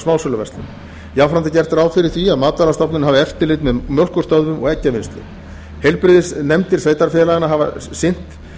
smásöluverslun jafnframt er gert ráð fyrir því að matvælastofnun hafi eftirlit með mjólkurstöðvum og eggjavinnslu heilbrigðisnefndir sveitarfélaganna hafa sinnt